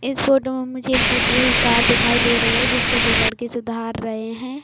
इस फोटो में मुझे एक टूटी हुई कार दिखाई दे रही है जिस को दो लड़के सुधार रहे है।